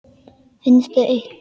Finnst þau eitt.